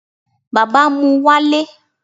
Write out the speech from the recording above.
bàbá mú walé